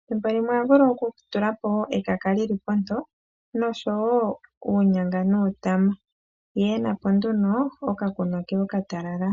ethimbo limwe oho vulu okutulapo wo ekaka lili ponto nosho wo uunyanga nuutama ye ena po nduno okakunwa ke okatalala.